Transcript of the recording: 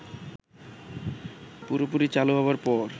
পুরোপুরি চালু হবার পর